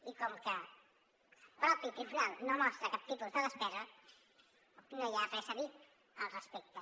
i com que el mateix tribunal no mostra cap tipus de despesa no hi ha res a dir al respecte